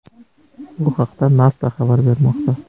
Bu haqda NASA xabar bermoqda .